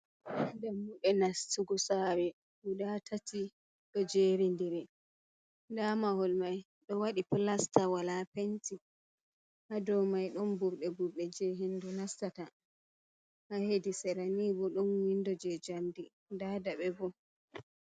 Dammuɗe nastugo saare gudaa atati ɗo jeerindiri ndaa mahol may ɗo waɗi pilesta, walaa penti, haa dow mai ɗon burɗe burɗe jey henndu nastata, haa hedi sera nii boo ɗon winndo jey jamɗe ndaa daɓe bo.